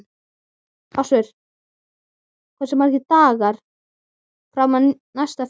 Ásvör, hversu margir dagar fram að næsta fríi?